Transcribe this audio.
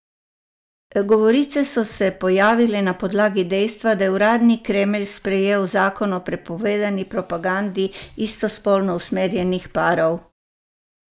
Govorice so se pojavile na podlagi dejstva, da je uradni Kremelj sprejel zakon o prepovedani propagandi istospolno usmerjenih parov.